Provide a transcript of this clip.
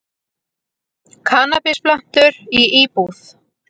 Kannabisplöntur í íbúð